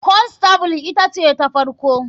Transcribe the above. Constable ita ce ta farko.